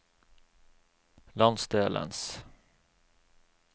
landsdelens